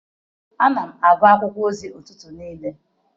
Ana m agụ akwụkwọ ozi n'ụtụtụ niile.